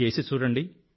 చేసి చూడండి